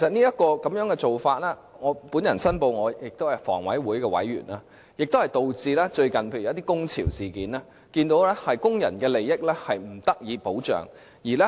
這個做法——我申報，我是房委會委員——導致最近發生了一些工潮事件，我們也看到工人的利益不受保障。